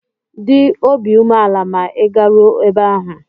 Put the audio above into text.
Dị obi umeala ma ị garuo ebe ahụ!